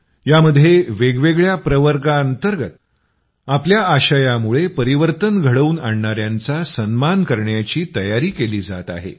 यामध्ये वेगवेगळ्या प्रवर्गाअंतर्गत आपल्या आशयामुळे परिवर्तन घडवून आणणायांचा सन्मान करण्याची तयारी केली जात आहे